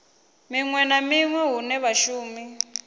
hunwe na hunwe hune vhashumi